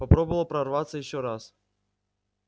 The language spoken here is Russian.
попробовала прорваться ещё раз